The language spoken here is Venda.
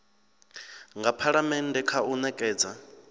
nga phalamennde kha u nekedza